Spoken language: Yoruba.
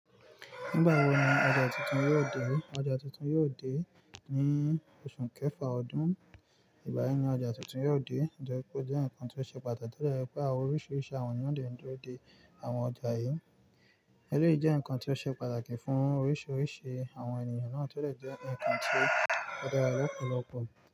Nígbà wo ni ọjà tuntun yóò dé? Ọjà tuntun yóò dé ní oṣù kẹfà ọdún. Ìgbà yen ní ọjà tuntun yóò dé, o jẹ́ pé ó jẹ́ ǹkan tó ṣe pàtàki tó dè jẹ̀ pé àwọn oríṣiríṣi àwọn ènìyàn dẹ ń dúró de àwon ọjà yìí. Èléyìí jẹ́ ǹkan tó ṣe pàtàkì fún oríṣiríṣi àwọn ènìyàn náà tó dè jẹ́ ǹkan tó dára lọ́pọ̀lọpọ̀.